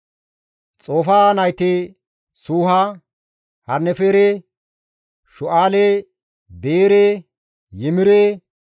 Xofaaha nayti Suuha, Harnefere, Shu7aale, Beere, Yimire,